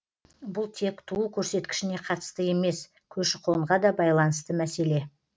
бұл тек туу көрсеткішіне қатысты емес көші қонға да байланысты мәселе